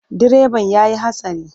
Direban ya yi hatsari.